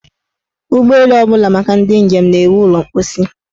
Ụgbọelu ọbụla maka ndị njem na-enwe ụlọ mposi.